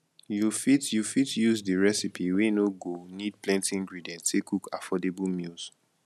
you fit you fit use di recipe wey no go need plenty ingredient take cook affordable meals